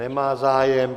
Nemá zájem.